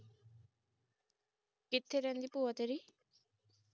ਕਿਥੇ ਰਹਿੰਦੀ ਭੂਆ ਤੇਰੀ